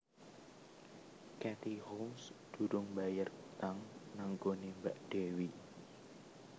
Katie Holmes durung mbayar utang nang nggone mbak Dewi